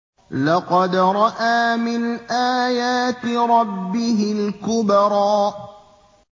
لَقَدْ رَأَىٰ مِنْ آيَاتِ رَبِّهِ الْكُبْرَىٰ